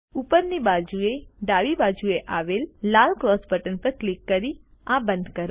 ઉપરની બાજુએ ડાબી બાજુએ આવેલ લાલ ક્રોસ બટન પર ક્લિક કરી આ બંધ કરો